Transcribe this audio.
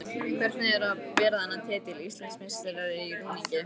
Hvernig er að bera þennan titil: Íslandsmeistari í rúningi?